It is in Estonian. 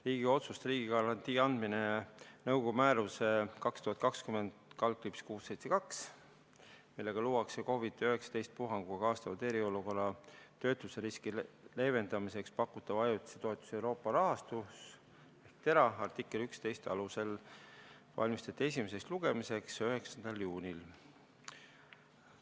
Riigikogu otsust "Riigigarantii andmine nõukogu määruse 2020/672, millega luuakse COVID-19 puhanguga kaasnenud eriolukorras töötuseriski leevendamiseks pakutava ajutise toetuse Euroopa rahastu , artikli 11 alusel" valmistati esimeseks lugemiseks ette 9. juunil.